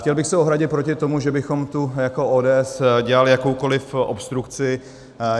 Chtěl bych se ohradit proto tomu, že bychom tu jako ODS dělali jakoukoliv obstrukci.